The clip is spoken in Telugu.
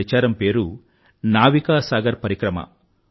ఈ ప్రచారం పేరు నావికా సాగర్ పరిక్రమ